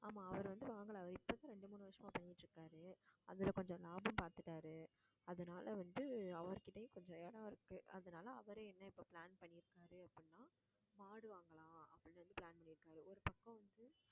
ஆமா, அவரு வந்து வாங்கல அவரு இப்பதான் ஒரு ரெண்டு மூணு வருசமா பண்ணிட்டு இருக்காரு அதுல கொஞ்சம் லாபம் பாத்துட்டாரு அதனால வந்து, அவர் கிட்டயும் கொஞ்சம் இடம் இருக்கு. அதனால, அவரே என்ன இப்ப plan பண்ணிருக்காரு அப்படின்னா, மாடு வாங்கலாம் அப்படினு வந்து plan பண்ணிருக்காரு. ஒரு பக்கம் வந்து